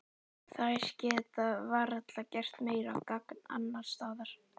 Þær geta varla gert meira gagn annars staðar.